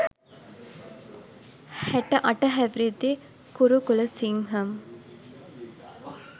හැටඅට හැවිරිදි කුරුකුලසිංහම්